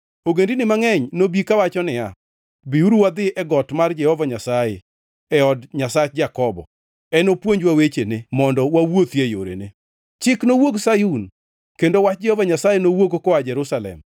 Ogendini mangʼeny nobi kawacho niya, “Biuru wadhi e got mar Jehova Nyasaye, e od Nyasach Jakobo. Enopuonjwa wechene mondo wawuothie e yorene.” Chik nowuog Sayun, kendo wach Jehova Nyasaye nowuog koa Jerusalem.